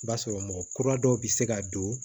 I b'a sɔrɔ mɔgɔ kura dɔw be se ka don